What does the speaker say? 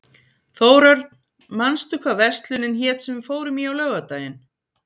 Þórörn, manstu hvað verslunin hét sem við fórum í á laugardaginn?